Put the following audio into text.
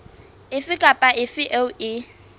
efe kapa efe eo e